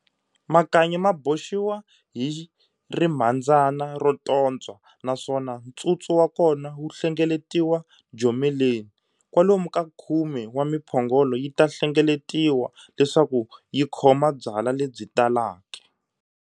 Makanyi maboxiwa hi rimhandzana rototswa naswona ntsutsu wakona wu hlengeletiwa jomeleni. Kwalomu ka khume wa Miphongolo yita hlengeletiwa leswaku yikhoma byala lebyi talaka.